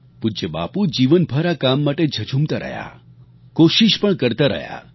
પૂજ્ય બાપુ જીવનભર આ કામ માટે ઝઝૂમતા રહ્યા કોશિશ પણ કરતા રહ્યા